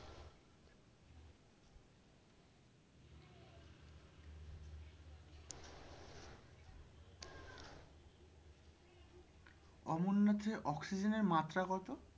অমরনাথের অক্সিজেনের মাত্রা কত?